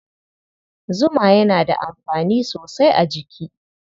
Zuma yana da amfani sosai a jiki.